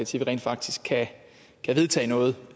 til vi rent faktisk kan vedtage noget